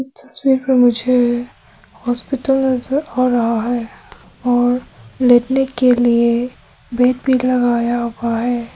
तस्वीर मे मुझे हॉस्पिटल नजर आ रहा है और लेटने के लिए बेड भी लगाया हुआ है।